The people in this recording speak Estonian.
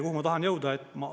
Kuhu ma tahan jõuda?